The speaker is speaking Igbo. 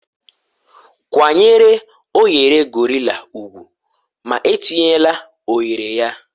kwanyere oghere gorilla ugwu ma etinyela oghere ya